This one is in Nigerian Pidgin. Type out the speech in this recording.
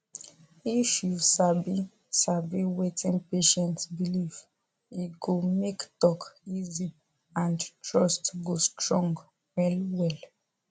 if you sabi sabi wetin patient believe e go make talk easy and trust go strong well well